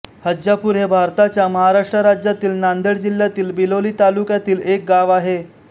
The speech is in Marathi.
हज्जापूर हे भारताच्या महाराष्ट्र राज्यातील नांदेड जिल्ह्यातील बिलोली तालुक्यातील एक गाव आहे